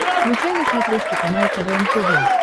включай на смотрешке канал квн тв